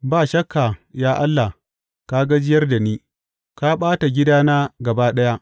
Ba shakka ya Allah ka gajiyar da ni; ka ɓata gidana gaba ɗaya.